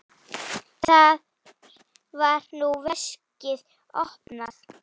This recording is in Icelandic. Þar var nú veskið opnað.